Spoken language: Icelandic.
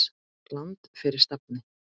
Land fyrir stafni!